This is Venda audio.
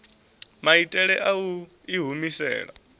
maitele a u i humisela